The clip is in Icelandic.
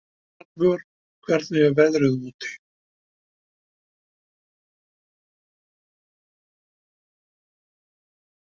Hallvör, hvernig er veðrið úti?